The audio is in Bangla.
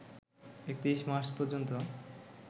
৩১ মার্চ পর্যন্ত